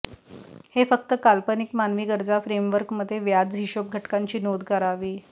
हे फक्त काल्पनिक मानवी गरजा फ्रेमवर्क मध्ये व्याज हिशोब घटकांची नोंद करावी